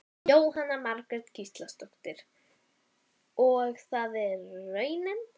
Jóhanna Margrét Gísladóttir: Og er það raunin?